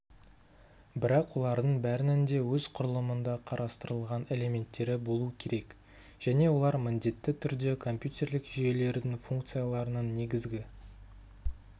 бірақ олардың бәрінің де өз құрылымында қарастырылған элементтері болу керек және олар міндетті түрде компьютерлік жүйелердің функцияларының негізгі